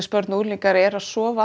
börn og unglingar eru að sofa